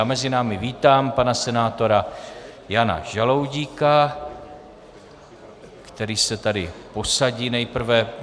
Já mezi námi vítám pana senátora Jana Žaloudíka, který se tady posadí nejprve.